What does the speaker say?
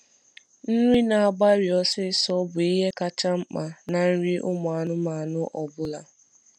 Nri n'agbari ọsisọ bụ ihe kachasị mkpa na nri ụmụ anụmanụ ọbụla